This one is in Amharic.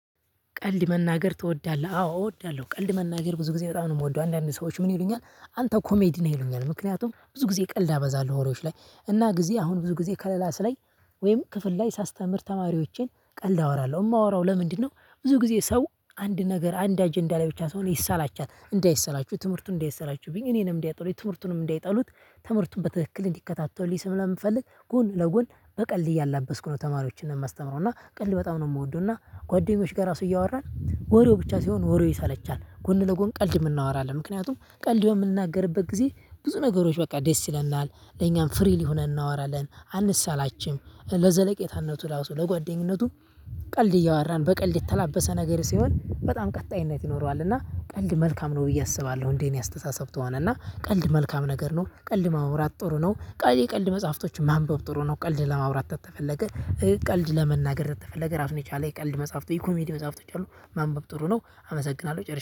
ቀልድ መናገር ትወዳለህ? አዎ እወዳለሁ። ቀልድ መናገር ብዙ ጊዜ በጣም ነው የምወደው። አንዳንድ ሰዎች ምን ይሉኛል አንተ ኮሜዲ ነህ ይሉኛል። ምክንያቱም ብዙ ጊዜ ቀልድ አበዛለሁ። ወሬዎች ላይ እና ጊዜ አሁን ብዙ ጊዜ ከክላስ ላይ ወይም ክፍል ላይ ሳስተምር ተማሪዎቼን ቀልድ አወራለሁ። የማወራው ለምንድነው? ብዙ ጊዜ ሰው አንድ ነገር አንድ አጀንዳ ላይ ብቻ ሲሆን ይሰላቻል እንዳይሰላችሁ ትምህርቱን እንዳይሰላችብኝ እኔንም እንዳይጠሉኝ ትምህርቱንም እንዳይጠሉት ትምህርቱን በትክክል እንዲከታተሉልኝ ስለምፈልግ። ጎን ለጎን በቀልድ እያላበስኩ ነው ተማሪዎችን የማስተምረው። እና ቀልድ በጣም ነው የምወደው። እና ጓደኞች ጋር ራሱ እያወራን ወሬው ብቻ ሲሆን ወሬው ይሰለቻል ጎን ለጎን ቀልድም እናወራለን። ምክንያቱም ቀልድ በምንናገርበት ጊዜ ብዙ ነገሮች በቃ ደስ ይለናል። ለኛም ፍሪሊ ሆነን እናወራለን አንሰላችም ለዘለቄታነቱ ራሱ ለጓደኝነቱ። ቀልድ እያወራን በቀልድ የተላበሰ ነገር ሲሆን በጣም ቀጣይነት ይኖረዋል። እና ቀልድ መልካም ነው ብዬ አስባለሁ። እንደኔ አስተሳሰብ ከሆነ እና ቀልድ መልካም ነገር ነው። ቀልድ ማውራት ጥሩ ነው። ቀልድ የቀልድ መጽሐፍቶችን ማንበብ ጥሩ ነው። ቀልድ ለማውራት ተፈለገ። ቀልድ ለመናገር ከተፈለገ ራሱን የቻለ የቀልድ መጽሐፍት የኮሜዲ መጽሐፍቶች አሉ። ማንበብ ጥሩ ነው። አመሰግናለሁ ጨርሻለው